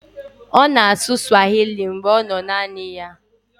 Ọ na-asụ swahili mgbe ọ nọ naanị ya.